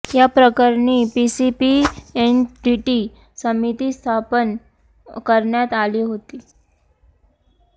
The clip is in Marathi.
या प्रकरणी पीसीपीएनडीटी समिती स्थापन करण्यात आली होती